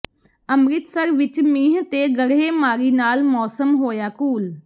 ਅੰਮ੍ਰਿਤਸਰ ਵਿਚ ਮੀਂਹ ਤੇ ਗੜ੍ਹੇਮਾਰੀ ਨਾਲ ਮੌਸਮ ਹੋਇਆ ਕੂਲ